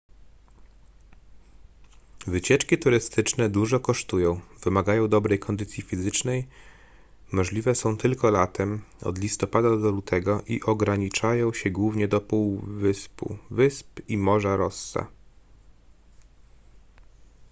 wycieczki turystyczne dużo kosztują wymagają dobrej kondycji fizycznej możliwe są tylko latem od listopada do lutego i ograniczają się głównie do półwyspu wysp i morza rossa